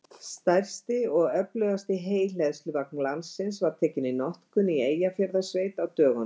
Stærsti og öflugasti heyhleðsluvagn landsins var tekinn í notkun í Eyjafjarðarsveit á dögunum.